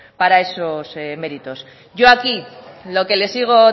para esos méritos yo aquí lo que le sigo